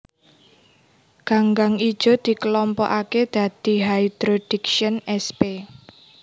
Ganggang ijo dikelompokaké dadi Hydrodiction sp